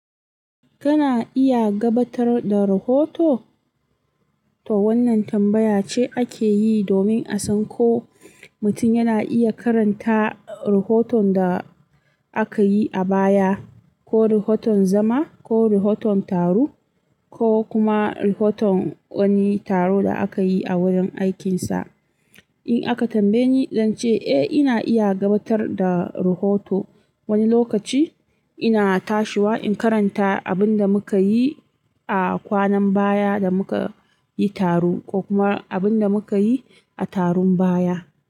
Kana iya gabatar da rahoto? To wannan tambaya ce ake yi domin a san ko mutum yana iya karanta rahoton da aka yi a baya, ko rahoton zama, ko rahoton taro, ko kuma rahoton wani taro da aka yi a wurin aikinsa. In aka tambaye ni, zan ce eh ina iya gabatar da rahoto. Wani lokaci ina tashiwa in karanta abin da muka yi a kwanan baya da muka yi taro ko kuma abin da muka yi a taron baya.